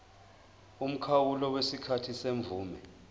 umkhawulo wesikhathi semvume